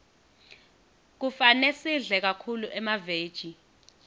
kufane sidle kakhulu emaveji